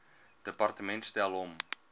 departement stel hom